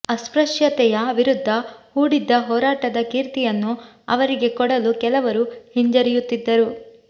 ಅಸ್ಪೃಶ್ಯತೆಯ ವಿರುದ್ಧ ಹೂಡಿದ್ದ ಹೋರಾಟದ ಕೀರ್ತಿಯನ್ನು ಅವರಿಗೆ ಕೊಡಲು ಕೆಲವರು ಹಿಂಜರಿಯುತ್ತಿದ್ದರು